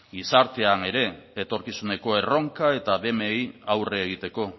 gizartean ere etorkizuneko erronka eta aurre egiteko